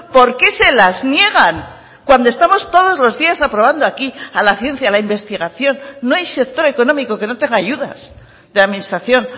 por qué se las niegan cuando estamos todos los días aprobando aquí a la ciencia a la investigación no hay sector económico que no tenga ayudas de administración